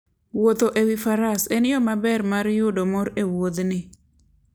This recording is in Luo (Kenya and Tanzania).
Wuotho e wi faras en yo maber mar yudo mor e wuodhni.